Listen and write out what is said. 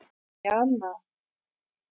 Jana